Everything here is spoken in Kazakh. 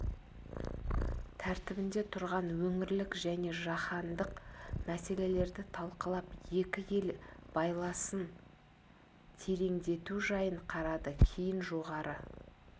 тәртібінде тұрған өңірлік және жаһандық мәселелерді талқылап екі ел байласын тереңдету жайын қарады кейін жоғары